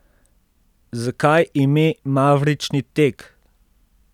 Zakaj ime Mavrični tek?